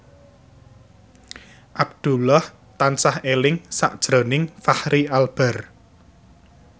Abdullah tansah eling sakjroning Fachri Albar